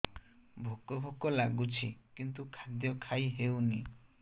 ଭୋକ ଭୋକ ଲାଗୁଛି କିନ୍ତୁ ଖାଦ୍ୟ ଖାଇ ହେଉନି